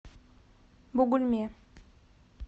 бугульме